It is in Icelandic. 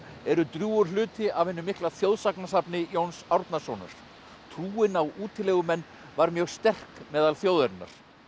eru drjúgur hluti af hinu mikla Jóns Árnasonar trúin á útilegumenn var mjög sterk meðal þjóðarinnar